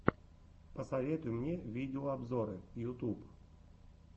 посоветуй мне видеообзоры ютуб